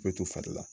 Bɛ to fari la